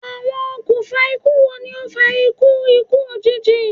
Awọn okunfa iku wo ni o fa iku iku ojiji?